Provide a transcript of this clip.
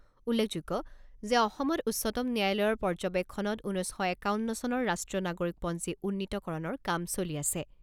উল্লেখযোগ্য যে অসমত উচ্চতম ন্যায়ালয়ৰ পৰ্যবেক্ষণত ঊনৈছ শ একাৱন্ন চনৰ ৰাষ্ট্ৰীয় নাগৰিকপঞ্জী উন্নীতকৰণৰ কাম চলি আছে।